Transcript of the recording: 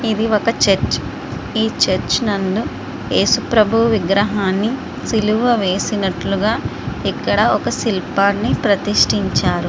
ఇది ఒక చర్చ్ . ఈ చర్చి నందు యేసు ప్రభు విగ్రహాన్ని సిలువ వేసినట్లుగా ఇక్కడ ఒక శిల్పాన్ని ప్రతిష్టించారు.